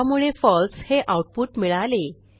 त्यामुळे फळसे हे आऊटपुट मिळाले